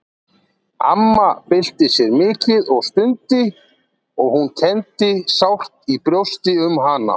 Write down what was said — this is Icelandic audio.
Amma bylti sér mikið og stundi og hún kenndi sárt í brjósti um hana.